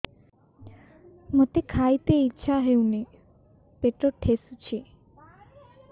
ମୋତେ ଖାଇତେ ଇଚ୍ଛା ହଉନି ପେଟ ଠେସୁଛି